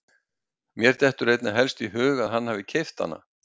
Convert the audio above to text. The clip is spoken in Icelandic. Mér dettur einna helst í hug að hann hafi keypt hana.